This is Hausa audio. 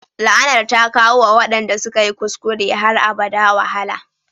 La'anar ta kawo wa waɗanda suka yi kuskure har abada wahala